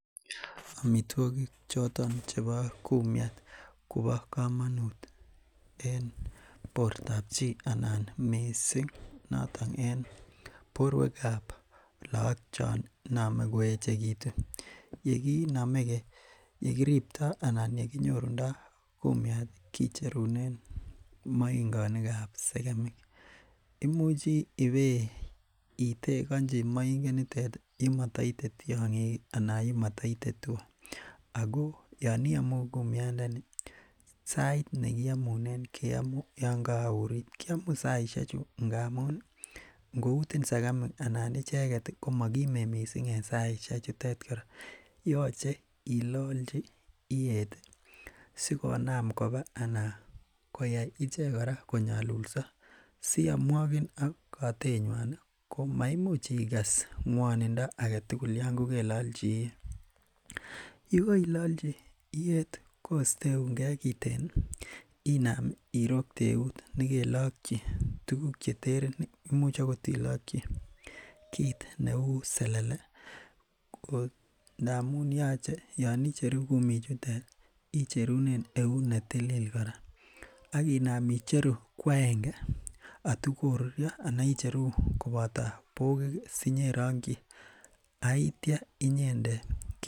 Amituakik choton chebo kumiat kobo kamanut en bortab chi anan missing noton en borweab lagok chon iname koechegitu. yekiname , yekiripta anan yekinyorunda kumiat ih kicherunen mainganikab segemik. Imuche ibeiteganchi mainget nitet yemaitien tiang'ik ih anan yemaitien tugah. Ago yeiamu kumiat ndeni sait nekiamunen keamu Yoon kakaourit kiamu saisiek chu ngamuun ih, ingoitin segemik anan icheket koma kimen missing en saisiek chutet kora yaache ilaalchi iyet ih asikonam koba anan koyai icheket kora koyalulsa siayomwagin ak katet nyuan ih ko maimuch ikas nguannindo agetugul yon kokelaachi iyiet yekailachi iyet kosteunge kiten ih inam irokte euut nekelach selele imuch akot ilakyi kit neuu selele ih ngamuun yache Yoon icheru kumik chutet ih icherunen euut netilili kora akinam icheru ko aenge atikorurio anan icheru kobato bokik ih sinyerangyi aitia inyendet